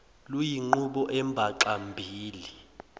luyinqubo embaxa mbili